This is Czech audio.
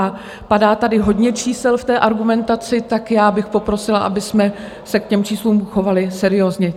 A padá tady hodně čísel v té argumentaci, tak já bych poprosila, abychom se k těm číslům chovali seriózně.